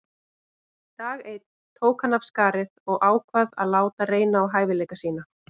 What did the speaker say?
Dag einn tók hann af skarið og ákvað að láta reyna á hæfileika sína.